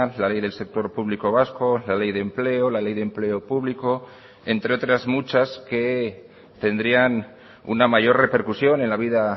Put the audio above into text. la ley del sector público vasco la ley de empleo la ley de empleo público entre otras muchas que tendrían una mayor repercusión en la vida